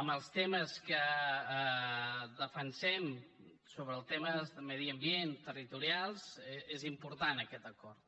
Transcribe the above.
en els temes que defensem sobre els temes de medi ambient territorials és important aquest acord